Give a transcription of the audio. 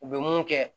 U bɛ mun kɛ